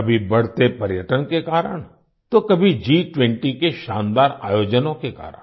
कभी बढ़ते पर्यटन के कारण तो कभी G20 के शानदार आयोजनों के कारण